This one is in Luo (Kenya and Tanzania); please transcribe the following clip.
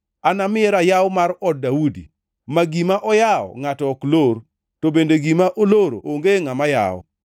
Anamiye rayaw mar od Daudi, ma gima oyawo ngʼato ok lor, to bende gima oloro onge ngʼama yawo.